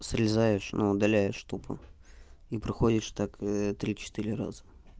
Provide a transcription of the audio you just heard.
срезаешь ну удаляешь тупо и проходишь так три четыре раза